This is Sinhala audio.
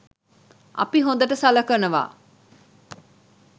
අපි හොඳට සලකනවා